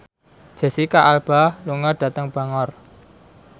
Jesicca Alba lunga dhateng Bangor